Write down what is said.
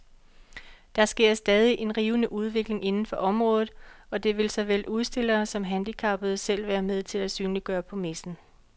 Der sker stadig en rivende udvikling inden for området, og det vil såvel udstillere som handicappede selv være med til at synliggøre på messen.